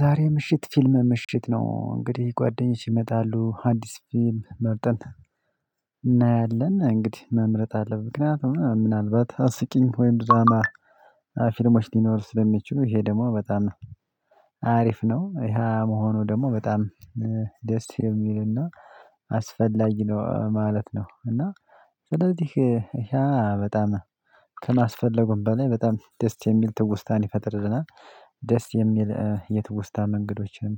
ዛሬ ምሽት ፊልም ምሽት ነው። እንግዲህ ጓደኞች ይመጣሉ። አዲስ ፊልም መርጠን እናያለን። እንግዲህ መምረጥ አለብን ምክንያቱም ምናልባት አስቂኝ ወይም ድራማ ፊልሞች ሊኖሩ ስለሚችሉ ይሄ ደግሞ በጣም አሪፍ ነው። ይሄ መሆኑ ደግሞ በጣም ደስ የሚልና አስፈላጊ ነው ማለት ነው፤ እና ስለዚህ ያ በጣም ከማስፈለጉም በላይ በጣም ደስ የሚል ትውስታን ይፈጥርልናል። ደስ የሚል የትውስታ መንገዶችን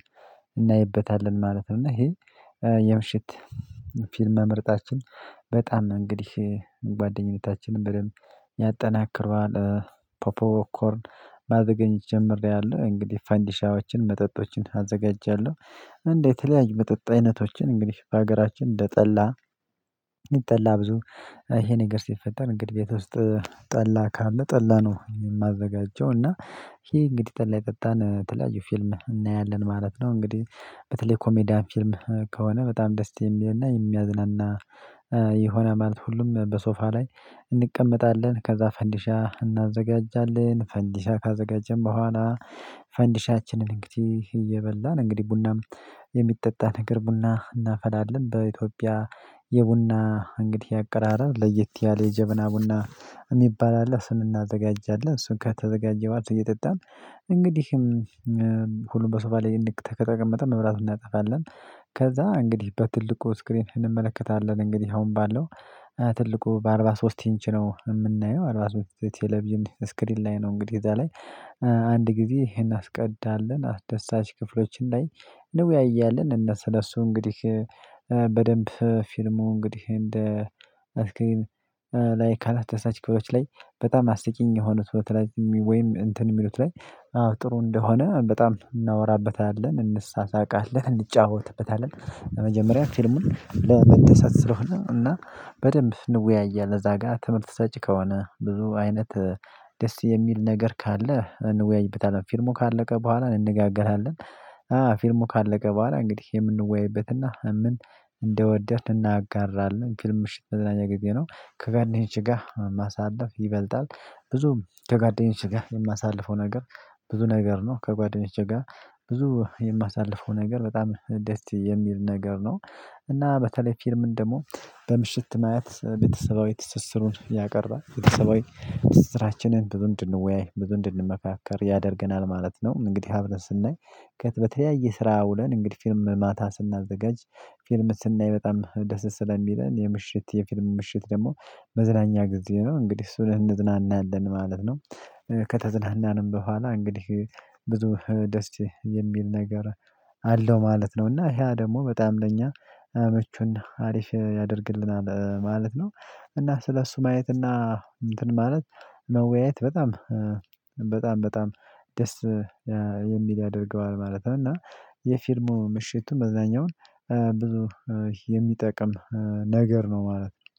እናይበታለን ማለት ነው፤ እና ይሄ የምሽት ፊልም መምረጣችን በጣም እንግዲህ ጓደኝነታችንን በደንብ ያጠናክረዋል። ፖፖ ኮርን ማዘጋጀት ጀምሬያለሁ። እንግዲህ ፈንዲሻዎችን መጠጦችን አዘጋጃለሁ። እን የተለያዩ መጠጥ አይነቶችን እንግዲህ በሀገራችን እንደጠላ ይጠላ ብዙ ይሄ ነገር ሲፈጠር እንግዲህ ቤት ውስጥ ጠላ ካለ ጠላ ነው የማዘጋጀው እና ይሄ እንግዲህ ጠላ እየጠጣን የተለያዩ ፊልም እናያለን ማለት ነው። እንግዲህ በተለይ ኮሜዲያን ፊልም ከሆነ በጣም ደስ የሚልና የሚያዝናና ይሆናል ማለት ሁሉም በሶፋ ላይ እንቀመጣለን ከዛ ፈንዲሻ እናዘጋጃለን። ፈንዲሻ ካዘጋጀን በኋላ ፈንዲሻችንን እንግዲህ እየበላን እንግዲህ ቡናም የሚጠጣ ነገር ቡና እናፈላለን። በኢትዮጵያ የቡና እንግዲህ አቀራረብ ለየት ያለ የጀበና ቡና የሚባል አለ። እሱን እናዘጋጃለን እሱን ከተዘጋጀባት እየጠጣን እንግዲህ ሁሉም በሶፋ ላይ ንቅ ከተቀመጠ መብራት እናጠፋለን። ከዛ እንግዲህ በትልቁ ስክሪን እንመለከታለን እንግዲህ አሁን ባለው ትልቁ በአርባ ሶስት ኢንች ነው የምናየው አርባ ሶስት ቴሌቪዥን ስክሪን ላይ ነው እንግዲህ እዛ ላይ አንድ ጊዜ ይሄን አስቀዳለን አስደሳች ክፍሎችን ላይ እንወያያለን እና ስለሱ እንግዲህ በደንብ ፊልሙ እንግዲህ እንደ አስኪል ላይ ካላተሳሳች ክፍሎች ላይ በጣም አስቂኝ የሆኑት በተለይ ወይም እንትን የሚሉት ላይ ጥሩ እንደሆነ በጣም እናወራበታለን፣ እንሳሳቃለን፣ እንጫወትበታለን። መጀመሪያ ፊልሙን ለመደሰት ስለሆነ እና በደንብ እንወያያለን እዛ ጋር ትምህርት ሰጪ ከሆነ ብዙ አይነት ደስ የሚል ነገር ካለ እንወያይበታለን ፊልሙ ካለቀ በኋላ እንነጋገራለን። አ ፊልሙ ካለቀ በኋላ እንግዲህ የምንወያይበትና ምን እንደወደድን እናጋራለን። ፊልም ምሽት መዝናኝ ጊዜ ነው። ከጓደኞቼ ጋር ማሳለፍ ይበልጣል። ብዙም ከጓደኞቼ ጋር የማሳልፈው ነገር ብዙ ነገር ነው። ከጓደኞቼ ጋር ብዙ የማሳልፈው ነገር በጣም ደስ የሚል ነገር ነው። እና በተለይ ፊልምን ደግሞ በምሽት ማየት ቤተሰባዊ ትስስሩን ያቀርባል ቤተሰባዊ ትስስራችንን ብዙ እንድወያይ ብዙ እንድንመካከር ያደርገናል ማለት ነው እንግዲህ አብረን ስናይ ከት በተለያየ ስራ ውለን እንግዲህ ፊልም ማታ ስናዘጋጅ ፊልም ስናይ በጣም ደስ ስለሚለን የምሽት የፊልም ምሽት ደግሞ መዝናኛ ጊዜ ነው እንግዲህ እሱን እንዝናናለን ማለት ነው። ከተዝናናንም በኋላ እንግዲህ ብዙ ደስ የሚል ነገር አለው ማለት ነው፤ እና ያ ደግሞ በጣም ለኛ ምቹና አሪፍ ያደርግልናል ማለት ነው፤ እና ስለሱ ማየት እና እንትን ማለት መወያየት በጣም በጣም በጣም ደስ የሚል ያደርገዋል ማለት ነው፤ እና የፊልሙ ምሽቱም መዝናኛውን ብዙ የሚጠቅም ነገር ነው ማለት ነው።